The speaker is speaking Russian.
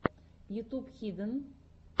ютуб хиден